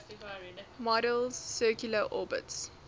model's circular orbits